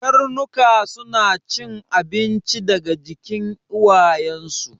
Karnuka suna cin abinci daga jikin uwayen su